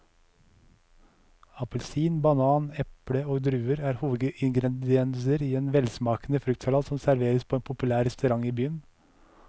Appelsin, banan, eple og druer er hovedingredienser i en velsmakende fruktsalat som serveres på en populær restaurant i byen.